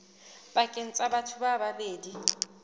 pakeng tsa batho ba babedi